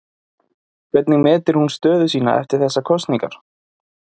Hvernig metur hún stöðu sína eftir þessar kosningar?